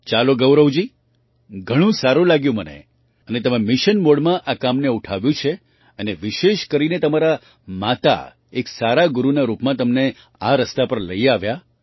ચાલો ગૌરવજી ઘણું સારું લાગ્યું મને અને તમે મિશન મૉડમાં આ કામને ઉઠાવ્યું છે અને વિશેષ કરીને તમારાં માતા એક સારા ગુરુના રૂપમાં તમને આ રસ્તા પર લઈ આવ્યાં